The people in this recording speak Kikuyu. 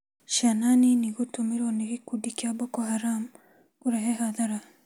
Ciana nini gũtũmĩrwa nĩ gĩkundi kĩa boko Haram, kũreta athara